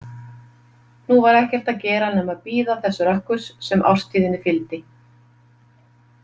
Nú var ekkert að gera nema bíða þess rökkurs sem árstíðinni fylgdi.